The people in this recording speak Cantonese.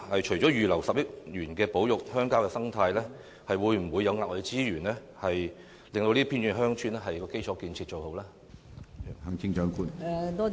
除了預留10億元保育鄉郊的生態外，會否額外撥出資源改善這些偏遠鄉村的基礎建設？